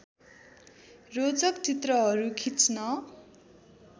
रोचक चित्रहरू खिच्न